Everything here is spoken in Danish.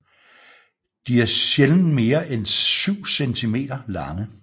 De er sjældent mere en 7 centimeter lange